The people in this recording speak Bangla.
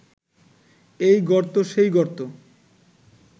এই গর্ত সেই গর্ত